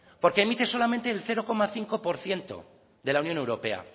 porque emite solamente el cero coma cinco por ciento de la unión europea